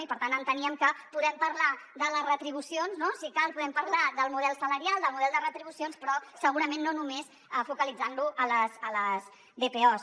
i per tant enteníem que podem parlar de les retribucions si cal podem parlar del model salarial del model de retribucions però segurament no només focalitzant lo a les dpos